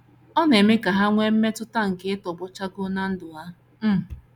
Ọ na - eme ka ha nwee mmetụta nke ịtọgbọ chakoo ná ndụ ha. um